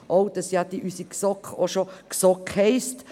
auch, dass ja unsere GSoK schon GSoK heisst.